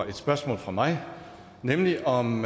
et spørgsmål fra mig nemlig om